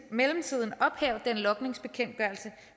mellemtiden ophæve den logningsbekendtgørelse